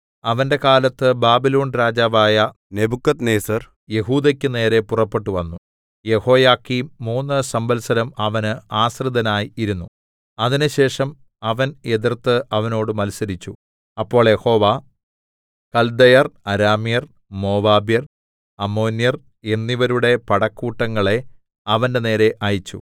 അവന്റെ കാലത്ത് ബാബിലോൺ രാജാവായ നെബൂഖദ്നേസർ യെഹൂദക്കുനേരെ പുറപ്പെട്ടുവന്നു യെഹോയാക്കീം മൂന്ന് സംവത്സരം അവന് ആശ്രിതനായി ഇരുന്നു അതിന്‍റെശേഷം അവൻ എതിർത്ത് അവനോട് മത്സരിച്ചു അപ്പോൾ യഹോവ കൽദയർ അരാമ്യർ മോവാബ്യർ അമ്മോന്യർ എന്നിവരുടെ പടക്കൂട്ടങ്ങളെ അവന്റെനേരെ അയച്ചു